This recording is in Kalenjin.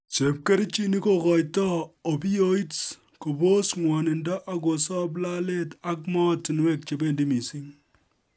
Chepkerichinik kogoitoi opioids kobos ng'wonindo ak kosop lalet ak moatunwek chebendi missing